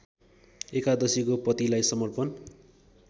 एकादशीको पतिलाई समर्पण